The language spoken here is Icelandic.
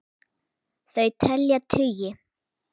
Þau telja tugi.